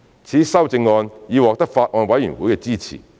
此修正案已獲得法案委員會的支持。